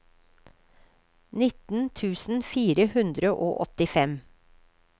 nitten tusen fire hundre og åttifem